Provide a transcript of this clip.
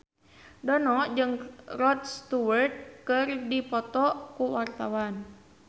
Dono jeung Rod Stewart keur dipoto ku wartawan